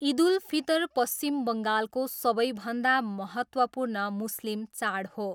इद उल फितर पश्चिम बङ्गालको सबैभन्दा महत्त्वपूर्ण मुस्लिम चाड हो।